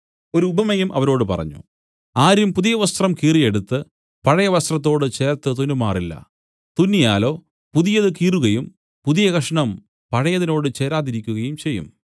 ഒരു ഉപമയും അവരോട് പറഞ്ഞു ആരും പുതിയവസ്ത്രം കീറിയെടുത്ത് പഴയവസ്ത്രത്തോട് ചേർത്ത് തുന്നുമാറില്ല തുന്നിയാലോ പുതിയത് കീറുകയും പുതിയ കഷണം പഴയതിനോട് ചേരാതിരിക്കയും ചെയ്യും